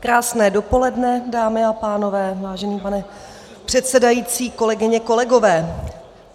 Krásné dopoledne, dámy a pánové, vážený pane předsedající, kolegyně, kolegové.